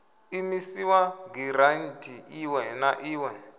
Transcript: imisiwa giranthi iṋwe na iṋwe